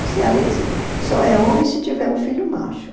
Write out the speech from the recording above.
O cearense só é homem se tiver um filho macho.